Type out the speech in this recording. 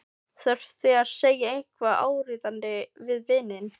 Þurfti að segja eitthvað áríðandi við vininn.